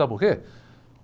Sabe por quê?